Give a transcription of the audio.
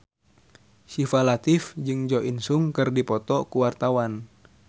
Syifa Latief jeung Jo In Sung keur dipoto ku wartawan